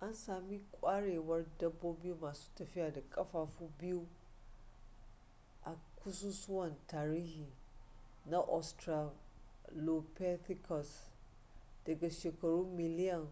an sami kwarewar dabbobi masu tafiya da kafafu biyu a ƙasusuwan tarihi na australopithecus daga shekaru miliyan